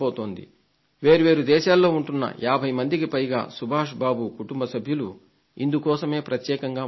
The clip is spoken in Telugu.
వేరు వేరు దేశాల్లో ఉంటున్న 50 మందికి పైగా శ్రీ సుభాష్ బాబు కుటుంబ సభ్యులు ఇందుకోసమే ప్రత్యేకంగా వస్తున్నారు